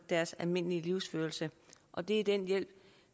deres almindelige livsførelse og det er den hjælp